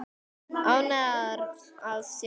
Ánægðar að sjást.